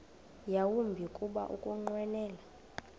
yawumbi kuba ukunqwenela